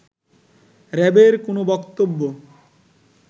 র‍্যাবের কোন বক্তব্য